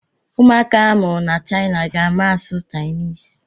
Ụmụaka a mụrụ ná China ga-ama asụ Chinese.